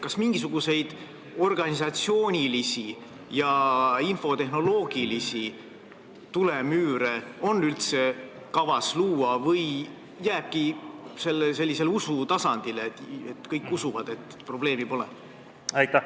Kas mingisuguseid organisatsioonilisi ja infotehnoloogilisi tulemüüre on üldse kavas luua või jääbki kõik sellisele usutasandile, kõik usuvad, et probleemi pole?